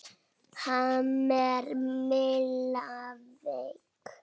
Ha, er Milla veik?